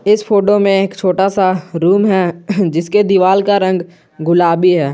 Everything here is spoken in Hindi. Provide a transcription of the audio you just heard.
इस फोटो में एक छोटा सा रूम है जिसके दीवाल का रंग गुलाबी है।